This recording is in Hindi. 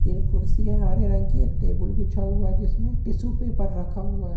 तीन कुर्सियां हरे रंग की एक टेबल बिछा हुआ जिसमें टिशू पेपर रखा हुया हे।